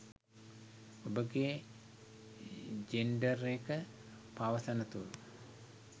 ඔබගේ ජෙන්ඩර් එක පවසන තුරු